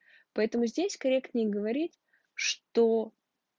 поэтому здесь корректней говорит что